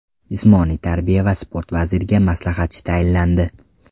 Jismoniy tarbiya va sport vaziriga maslahatchi tayinlandi.